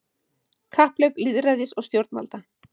Kapphlaup lýðræðis og stjórnvalda